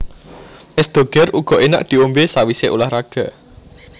Es Doger uga enak diombe sawise ulah raga